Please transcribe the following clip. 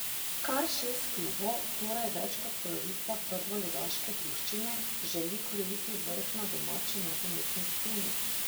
Kar šest klubov, torej več kot polovica prvoligaške druščine, želi krojiti vrh na domači nogometni sceni.